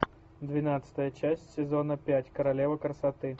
двенадцатая часть сезона пять королева красоты